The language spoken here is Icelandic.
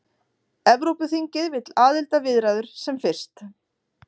Evrópuþingið vill aðildarviðræður sem fyrst